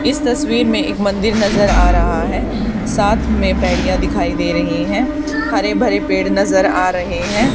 इस तस्वीर में एक मंदिर नजर आ रहा है साथ में पेरिया दिखाई दे रही हैं हरे भरे पेड़ नजर आ रहे हैं।